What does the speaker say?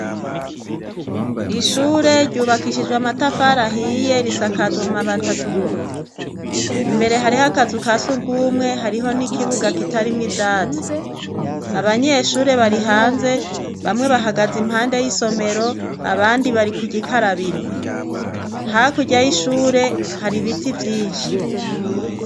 Ishure ryubakishijwe amatafari ahiye, risakajwe amabati atukura. Imbere hariho akazu ka surwumwe, hariho n'ikibuga kitarimwo ivyatsi. Abanyeshure bari hanze bamwe bahagaze impande y'isomero, abandi bari ku gikarabiro. Hakurya y' ishure hari ibiti vyinshi.